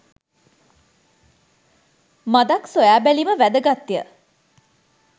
මඳක් සොයා බැලීම වැදගත් ය.